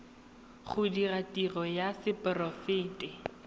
go dira tiro ya seporofe